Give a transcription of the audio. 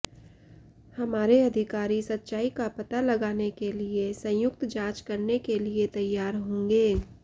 हमारे अधिकारी सच्चाई का पता लगाने के लिए संयुक्त जांच करने के लिए तैयार होंगे